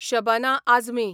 Shabana Azmi